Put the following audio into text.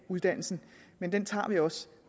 uddannelsen men den tager vi også